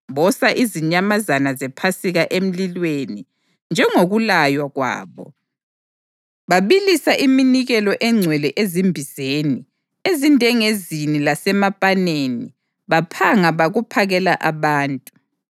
Bosa izinyamazana zePhasika emlilweni njengokulaywa kwabo, babilisa iminikelo engcwele ezimbizeni, ezindengezini lasemapaneni baphanga bakuphakela abantu.